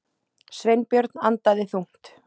Sveinbjörn andaði þungt.